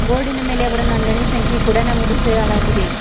ಬೋರ್ಡಿನ ಮೇಲೆ ಅವರ ನೊಂದಣಿ ಸಂಖ್ಯೆ ಕೂಡ ನಮೂದಿಸಲಾಗಿದೆ.